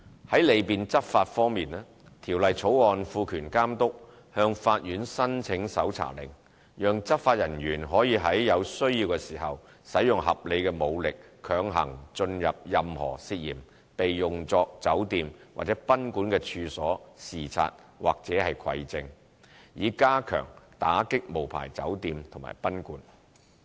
在利便執法方面，《條例草案》賦權監督向法院申請搜查令，讓執法人員可在有需要時使用合理武力強行進入任何涉嫌被用作酒店或賓館的處所視察或蒐證，以加強打擊無牌酒店及賓館。